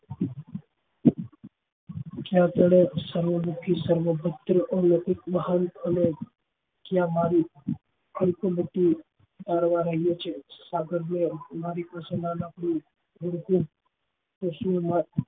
જ્યાં થોડોક સર્વ દુખી સર્વ પ્રત્યે અલોઉંકિક મહાન અને ક્યાં મારી અંત બુદ્ધિ